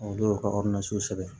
Olu ye baganw sɛgɛn